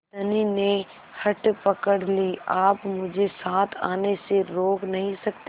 धनी ने हठ पकड़ ली आप मुझे साथ आने से रोक नहीं सकते